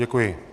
Děkuji.